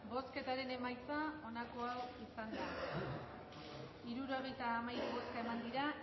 bozketaren emaitza onako izan da